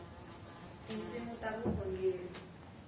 tinsimu ta vukhongeri